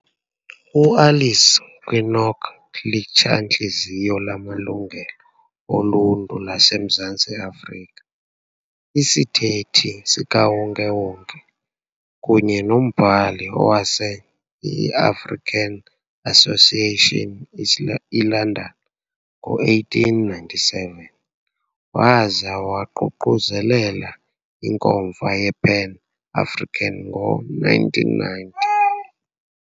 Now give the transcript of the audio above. uAlice Kinloch litshantliziyo lamalungelo oluntu laseMzantsi Afrika, isithethi sikawonke-wonke, kunye nombhali owaseka iAfrican Association eLondon ngo-1897, waza waququzelela iNkomfa yePan-African ngo-1990.